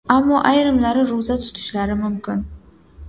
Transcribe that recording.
Ammo ayrimlari ro‘za tutishlari mumkin.